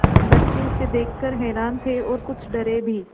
बच्चे उसे देख कर हैरान थे और कुछ डरे भी